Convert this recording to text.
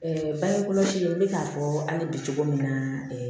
bange kɔlɔsi n bɛ k'a fɔ hali bi cogo min na